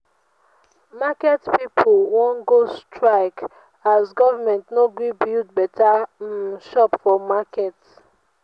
market pipu wan go strike as government no gree build beta um shop for market